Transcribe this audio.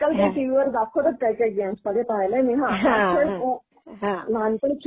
हां, ते आजकाल ते टीव्ही वर दाखवतात काही काही गेम्समध्ये, पाहिलंय मी.